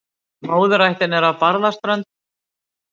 Móðurættin er af Barðaströnd.